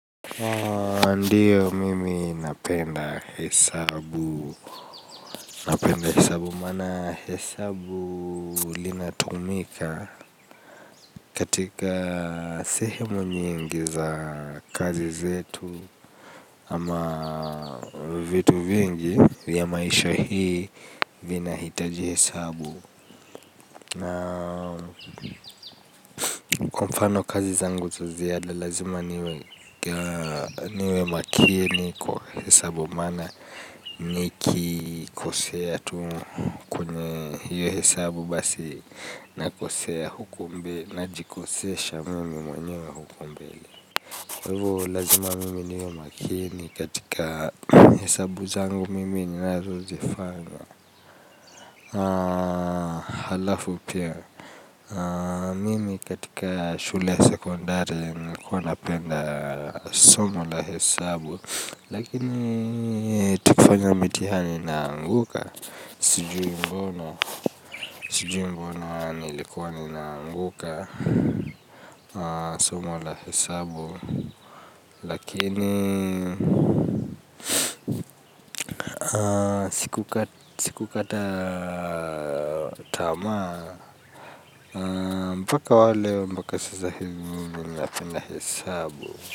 Ndiyo mimi napenda hesabu. Napenda hesabu maana hesabu linatumika. Katika sehemu nyingi za kazi zetu ama vitu vingi ya maisha hii vinahitaji hesabu. Kwa mfano kazi za nguto ziada lazima niwe makini kwa hesabu maana nikikosea tu hiyo hesabu basi nakosea huko mbe najikosesha mimi mwenyewe huko mbele. Hivo lazima mimi niwe makini katika hesabu zangu mimi ninazozifanya. Halafu pia mimi katika shule sekondari nilikuwa napenda somo la hesabu. Lakini tukifanya mitihani naanguka. Sijui mbono nilikuwa ninaanguka. Somo wa la hesabu Lakini Siku kata Tamaa Mbaka wale mbaka sasa hizi. Ninapenda hesabu.